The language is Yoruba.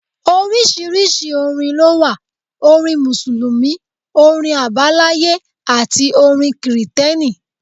Oríṣiríṣi orin lówà; orin Mùsùlùmí, orin Àbáláyé àti orin kìrìtẹ̀ni.